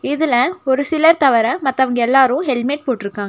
இதுல ஒரு சிலர் தவர மத்தவங்க எல்லாரு ஹெல்மெட் போட்ருக்காங்க.